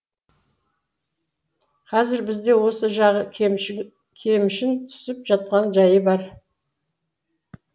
қазір бізде осы жағы кемшін кемшін түсіп жатқан жайы бар